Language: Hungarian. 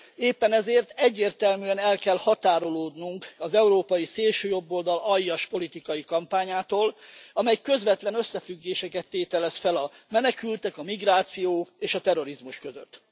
Éppen ezért egyértelműen el kell határolódnunk az európai szélsőjobboldal aljas politikai kampányától, amely közvetlen összefüggéseket tételez fel a menekültek, a migráció és a terrorizmus között.